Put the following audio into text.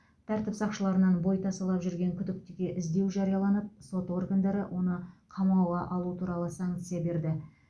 тәртіп сақшыларынан бой тасалап жүрген күдіктіге іздеу жарияланып сот органдары оны қамауға алу туралы санкция берді